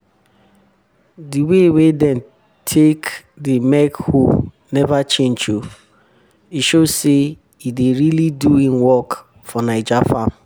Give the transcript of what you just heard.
di way wey dem take dey make hoe never change o. e show say e dey really do hin work for naija farm